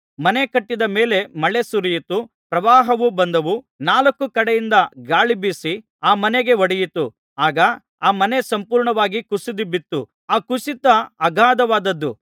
ಮನೆ ಕಟ್ಟಿದ ಮೇಲೆ ಮಳೆ ಸುರಿಯಿತು ಪ್ರವಾಹವು ಬಂದವು ನಾಲ್ಕು ಕಡೆಯಿಂದ ಗಾಳಿ ಬೀಸಿ ಆ ಮನೆಗೆ ಹೊಡೆಯಿತು ಆಗ ಆ ಮನೆ ಸಂಪೂರ್ಣವಾಗಿ ಕುಸಿದುಬಿತ್ತು ಆ ಕುಸಿತ ಅಗಾಧವಾದುದು